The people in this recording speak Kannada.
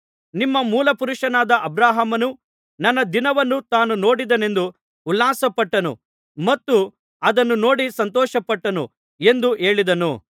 ನಿಮ್ಮ ಮೂಲಪುರುಷನಾದ ಅಬ್ರಹಾಮನು ನನ್ನ ದಿನವನ್ನು ತಾನು ನೋಡುತ್ತೇನೆಂದು ಉಲ್ಲಾಸಪಟ್ಟನು ಮತ್ತು ಅದನ್ನು ನೋಡಿ ಸಂತೋಷಪಟ್ಟನು ಎಂದು ಹೇಳಿದನು